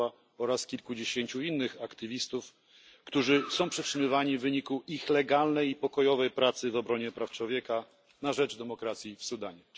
Sacharowa, oraz kilkudziesięciu innych aktywistów, którzy są przetrzymywani z powodu ich legalnej i pokojowej pracy w obronie praw człowieka i na rzecz demokracji w Sudanie.